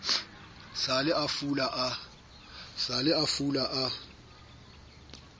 sa le a fula a